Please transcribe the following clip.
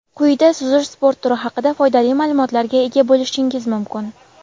Quyida suzish sport turi haqida foydali ma’lumotlarga ega bo‘lishingiz mumkin.